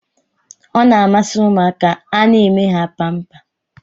Ọ na-amasị ụmụaka a na-eme ha pampa.